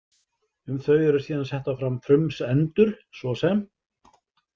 Um þau eru síðan settar fram frumsendur, svo sem